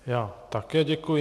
Já také děkuji.